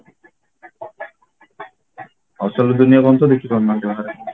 ଅସଲ ଦୁନିଆ କଣ ତ ଦେଖିପାରୁନାହାନ୍ତି ବାହାରେ